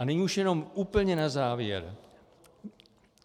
A nyní už jenom úplně na závěr.